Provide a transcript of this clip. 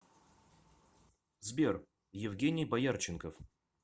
сбер евгений боярченков